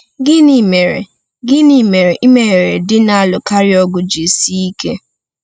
Gịnị mere Gịnị mere imeghere di na-alụkarị ọgụ ji sie ike?